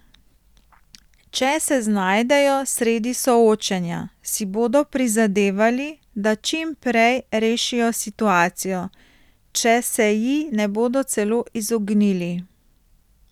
Če se znajdejo sredi soočenja, si bodo prizadevali, da čim prej rešijo situacijo, če se ji ne bodo celo izognili.